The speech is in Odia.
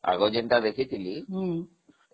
ଆଗ ଯୋଉଟା ଦେଖିଥିଲି